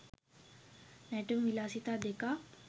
නැටුම් විලාසිතා දෙකක්